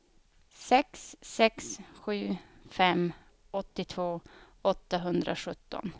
sex sex sju fem åttiotvå åttahundrasjutton